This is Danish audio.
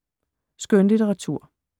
Skønlitteratur